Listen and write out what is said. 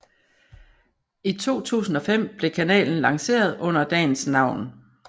I 2005 blev kanalen lanceret under dagens navn